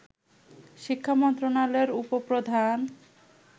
শিক্ষামন্ত্রণালয়ের উপ-প্রধান